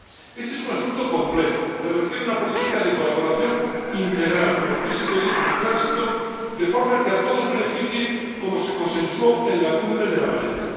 Este es un asunto complejo que requiere una política de colaboración integral con los países de origen y tránsito, de forma que a todos beneficie, como se consensuó en la Cumbre de La Valeta.